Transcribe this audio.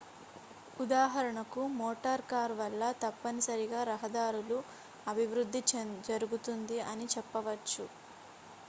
ఉదాహరణకు motor car వల్ల తప్పనిసరిగా రహదారుల అభివృద్ధి జరుగుతుంది అని చెప్పవచ్చు